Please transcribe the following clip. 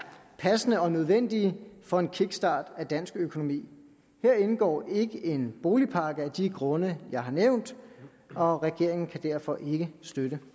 passende og nødvendige for en kickstart af dansk økonomi her indgår ikke en boligpakke af de grunde jeg har nævnt og regeringen kan derfor ikke støtte